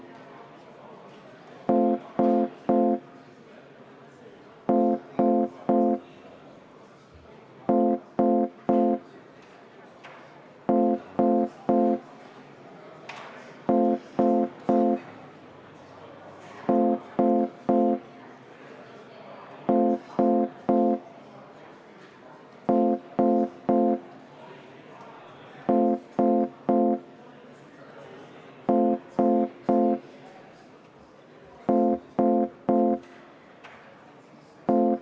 Kui eelnõu teine lugemine lõpetatakse, on juhtivkomisjoni ettepanek saata eelnõu kolmandaks lugemiseks Riigikogu täiskogu päevakorda 13. novembriks ja viia läbi eelnõu lõpphääletus.